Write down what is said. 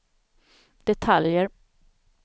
detaljer